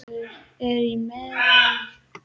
Eyruggar eru í meðallagi.